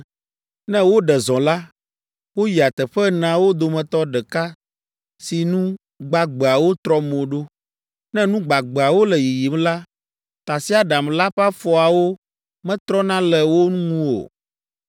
Ne woɖe zɔ la, woyia teƒe eneawo dometɔ ɖeka si nu gbagbeawo trɔ mo ɖo. Ne nu gbagbeawo le yiyim la, tasiaɖam la ƒe afɔawo metrɔna le wo ŋu o.